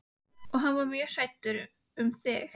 Og hann er mjög hræddur um þig.